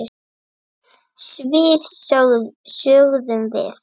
Svið sögðum við.